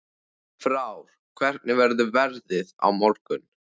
Frár, hvernig verður veðrið á morgun?